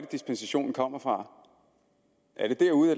dispensation kommer fra